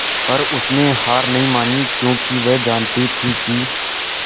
पर उसने हार नहीं मानी क्योंकि वह जानती थी कि